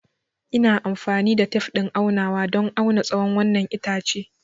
Ina amfani da tef ɗin aunawa don auna tsawon wannan itace.